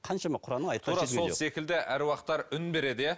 қаншама құранның сол секілді аруақтар үн береді иә